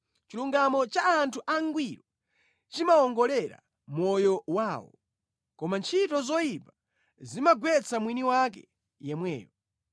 Chilungamo cha anthu angwiro chimawongolera moyo wawo, koma ntchito zoyipa zimagwetsa mwini wake yemweyo.